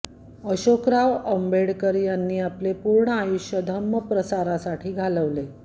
अशोकराव आंबेडकर यांनी आपले पूर्ण आयुष्य धम्म प्रसारासाठी घालवले